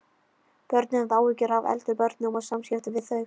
Börnin höfðu áhyggjur af eldri börnum og samskiptum við þau.